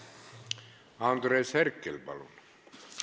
Andres Herkel, palun!